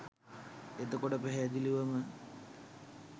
එතකොට පැහැදිලිවම